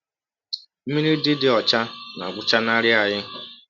Mmiri dị dị ọcha na-agwụchanarị anyị.